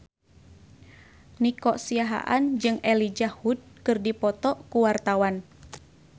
Nico Siahaan jeung Elijah Wood keur dipoto ku wartawan